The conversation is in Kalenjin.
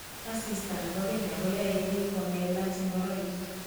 Asista ne bo kenya koyoe biik komelach ngoroik.